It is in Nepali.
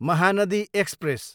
महानदी एक्सप्रेस